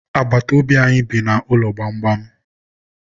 Agbata obi anyị bi n'ụlọ gbamgbam.